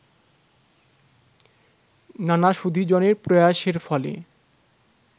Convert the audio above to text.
নানা সুধীজনের প্রয়াসের ফলে